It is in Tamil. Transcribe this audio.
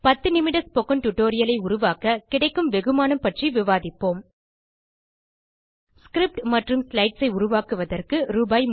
10 நிமிட ஸ்போக்கன் டியூட்டோரியல் ஐ உருவாக்க கிடைக்கும் வெகுமானம் பற்றி விவாதிப்போம் ஸ்கிரிப்ட் மற்றும் ஸ்லைட்ஸ் ஐ உருவாக்குவதற்கு ரூ